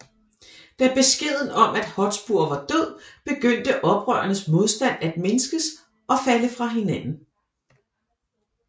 Da beskeden om at Hotspur var død begyndte oprørernes modstand at mindskes og falde fra hinanden